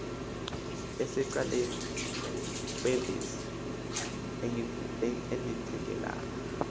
esecaleni kwevesi engqinelana